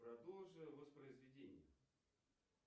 продолжи воспроизведение